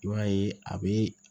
I b'a ye a bɛ